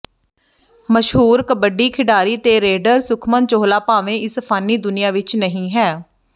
ਮਸ਼ਹੂਰ ਕਬੱਡੀ ਖਿਡਾਰੀ ਤੇ ਰੇਡਰ ਸੁਖਮਨ ਚੋਹਲਾ ਭਾਵੇਂ ਇਸ ਫਾਨੀ ਦੁਨੀਆ ਵਿੱਚ ਨਹੀਂ ਹੈ